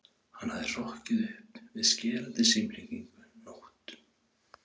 Hann hafði hrokkið upp við skerandi símhringingu nótt